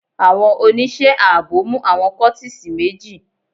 Àwọn oníṣẹ́ ààbò mú àwọn kọ́tísì méjì.